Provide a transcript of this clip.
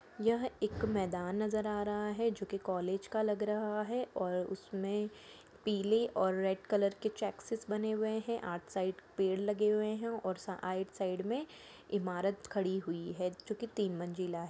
यह एक मैदान नजर आ रहा है जो की कोलेज का लग रहा है और उसमे पीले और रेड कलर के चेक्सिस बने हुए है आइट साइड पेड़ लग हुए है और आइट साइड में इमारत खड़ी हुई है जो की तिन मंजिला है।